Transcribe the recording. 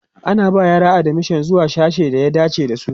ana ba yara admission zuwa sasshen da ya dace da su